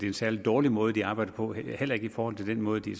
en særlig dårlig måde de arbejder på heller ikke forhold til den måde de